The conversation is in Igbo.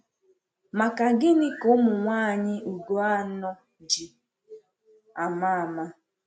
Maka gịnị ka ụmụnwaanyị Ugo anọ̀ ji ama ama?